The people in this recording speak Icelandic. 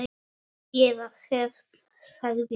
Eða hefnt, sagði Ari.